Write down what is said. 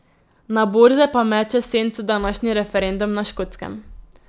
Na borze pa meče senco današnji referendum na Škotskem.